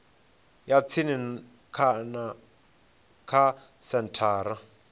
ya tsini kana kha senthara